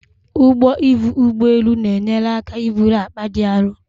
Ụgbọ ivu ụgbọ elu na-enyere aka iburu akpa dị aru